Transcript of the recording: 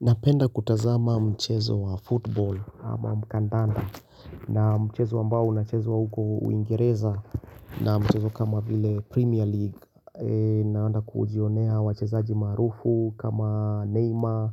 Napenda kutazama mchezo wa football ama mkandanda na mchezo ambao unachezwa huko uingereza Naam mchezo kama vile Premier League Naanda kuujionea wachezaji maarufu kama Neymar,